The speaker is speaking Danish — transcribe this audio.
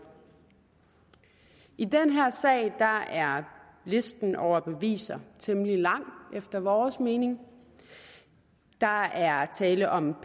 i den her sag er er listen over beviser temmelig lang efter vores mening der er tale om